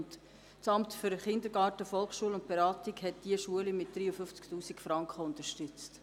Das Amt für Kindergarten, Volksschulen und Beratung hat diese Schulen mit 53 000 Franken unterstützt.